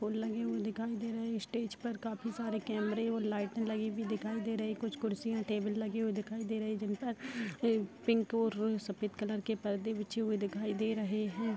फूल लगे हुए दिखाई दे रहे हैं स्टेज पर काफी सारे कैमरे और लाइटें लगी हुई दिखाई दे रही है कुछ कुर्सियाँ टेबल लगे हुए दिखाई दे रहे हैं जिन पर पिंक और सफ़ेद कलर के पर्दे बिछे हुए दिखाई दे रहे हैं।